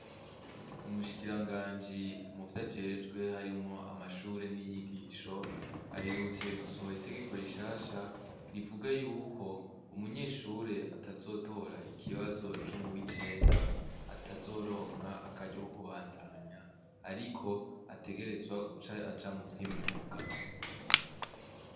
Umushikiranganji muvyo ajejwe harimwo amashuri n'inyigisho, aherutse gusohora itegeko rishasha, rivuga y'uko, umunyeshure atazotora ikibazo co muw'icenda, atazoronka akaryo ko kubandanya. Ariko, ategerezwa guca aja muvy'imyuga.